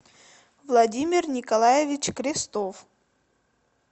владимир николаевич крестов